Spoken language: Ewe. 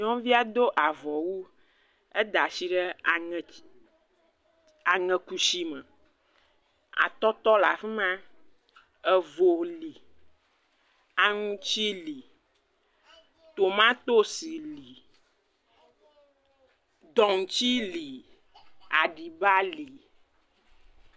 Nyɔnuvia do avɔu. Eda ashi ɖe aŋɛdzi, aŋɛkushime. Atɔtɔ le afi ma, evo li, aŋutsi li, tomatosi li, dɔŋutsi li, aɖiba li.